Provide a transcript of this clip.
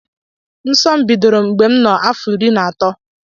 Nso m bidoro mgbe nno afọ iri na atọ.